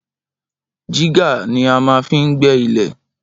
Jígà ní a má fin gbé ilè